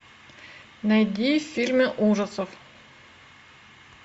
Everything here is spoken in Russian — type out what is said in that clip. найди фильмы ужасов